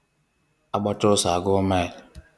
A gbachaa ọsọ a guọ mile